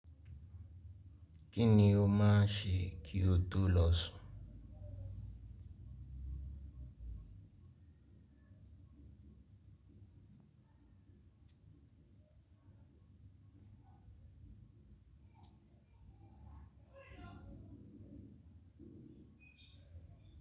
Kíni o máa ṣe kí o tó lọ̀sun?